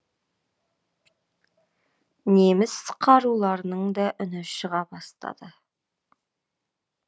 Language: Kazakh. неміс қаруларының да үні шыға бастады